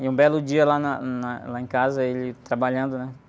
E um belo dia lá na, na, lá em casa, ele trabalhando, né?